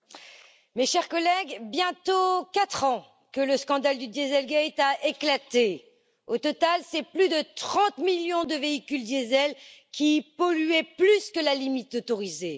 Madame la Présidente, mes chers collègues, bientôt quatre ans que le scandale du Dieselgate a éclaté. Au total, c'est plus de 30 millions de véhicules diesel qui polluaient au delà de la limite autorisée.